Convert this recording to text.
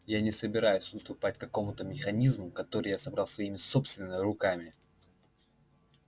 я не собираюсь уступать какому-то механизму который я собрал своими собственными руками